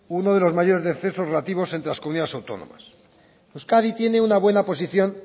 uno de los mayores descensos relativos entre las comunidades autónomas euskadi tiene una buena posición